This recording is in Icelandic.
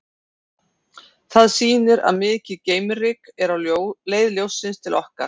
Það sýnir að mikið geimryk er á leið ljóssins til okkar.